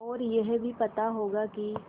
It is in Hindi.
और यह भी पता होगा कि